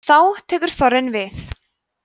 þá tekur þorrinn við